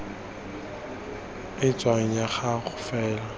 e tshwanang ya go faela